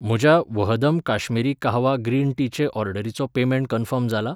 म्हज्या वहदम काश्मिरी काहवा ग्रीन टीचे ऑर्डरीचो पेमेंट कन्फर्म जाला?